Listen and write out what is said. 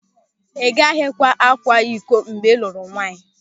Ị gaghịkwa akwa ịkọ mgbe ị lụrụ nwaanyị.